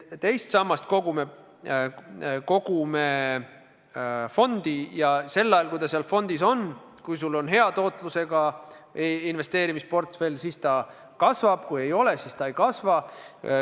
Teist sammast me kogume fondi ja sel ajal, kui raha seal fondis on, see summa kasvab, kui sul on hea tootlusega investeerimisportfell, kui ei ole, siis ei kasva.